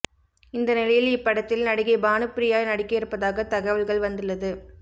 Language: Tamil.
இந்த நிலையில் இப்படத்தில் நடிகை பானுபிரியா நடிக்க இருப்பதாக தகவல்கள் வந்துள்ளது